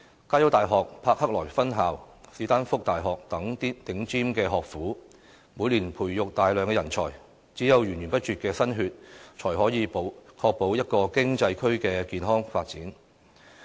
加洲大學柏克萊分校、史丹福大學等頂尖學府，每年培育大量人才，只有源源不絕的"新血"，才可以確保一個經濟區的健康發展。